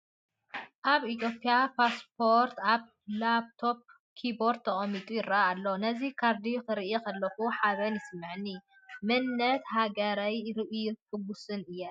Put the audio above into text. ናይ ኢትዮጵያ ፓስፖርት ኣብ ላፕቶፕ ኪቦርድ ተቐሚጡ ይርአ ኣሎ። ነዚ ካርዲ ክርኢ ከለኹ ሓበን ይስምዓኒ፣ መንነት ሃገረይ ርእየ ሕጉስ እየ።